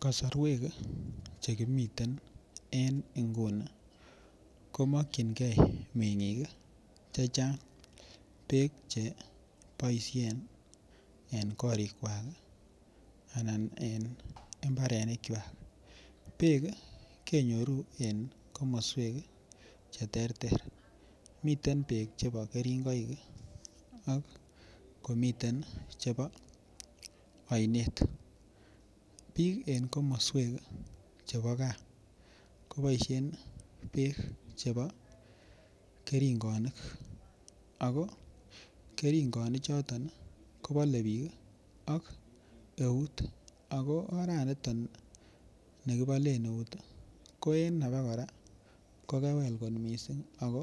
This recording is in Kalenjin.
Kosorwek chemiten en inguni komokingee mengik kii Chechang beek cheboishen en korik kwak kii anan en imbarenik kwak, beek kenyoru en komoswek cheterter miten beek chebo keringoik ak komiten chebo oinet. Bik en komoswek chebo gaa koboishen beek chebo keringonik ako keringonik choto kobole bik ak eut ako oraniton nikibolen eut Koen abakora ko kewel kot missing ako